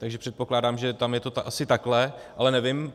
Takže předpokládám, že tam je to asi takhle, ale nevím.